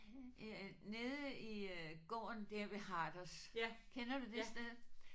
Nede i gården der ved Harders kender du det sted?